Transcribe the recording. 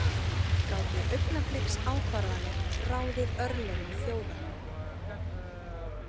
Gátu augnabliksákvarðanir ráðið örlögum þjóða?